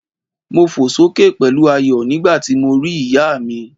Mo fò sókè pẹ̀lú ayọ̀ nígbàti mo ri ìyá mi